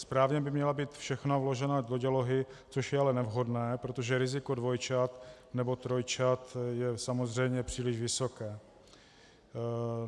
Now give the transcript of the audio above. Správně by měla být všechna uložena do dělohy, což je ale nevhodné, protože riziko dvojčat nebo trojčat je samozřejmě příliš vysoké.